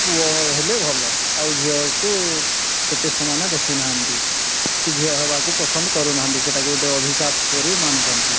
ପୁଅ ହେଲେ ଭଲ ଆଉ ଝିଅକୁ ଏତେ ସେମାନେ ଦେଖୁ ନାହାନ୍ତି କି ଝିଅ ହେବାକୁ ପସନ୍ଦ କରୁ ନାହାନ୍ତି ସେଇ ତାକୁ ଗୋଟେ ଅଭିଶାପ ପରି ମାନୁଛନ୍ତି